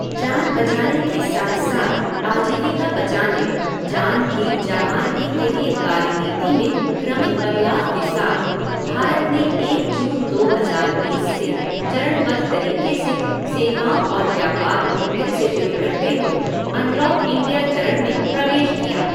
जान बचाने के साथ साथ आजीविका बचाने, जान भी जहान भी के लिए कार्यनीति में क्रमिक बदलाव के साथ भारत ने एक जून दो हज़ार बीस से चरणबद्ध तरीके से सेवाओं और व्यापार को फिर से शुरू करते हुए अनलॉक इंडिया चरण में प्रवेश किया।